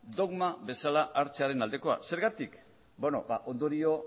dogma bezala hartzearen aldekoa zergatik beno ba ondorio